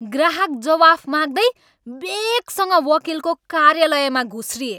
ग्राहक जवाफ माग्दै वेगसँग वकिलको कार्यालयमा घुस्रिए!